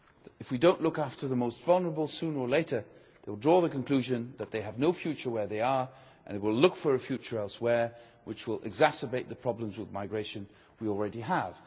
If we do not look after the most vulnerable sooner or later they will draw the conclusion that they have no future where they are and will look for a future elsewhere, which will exacerbate the problems with migration we already have.